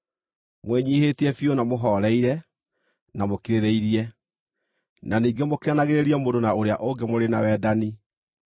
Mwĩnyiihĩtie biũ na mũhooreire na mũkirĩrĩirie, na ningĩ mũkiranagĩrĩrie mũndũ na ũrĩa ũngĩ mũrĩ na wendani.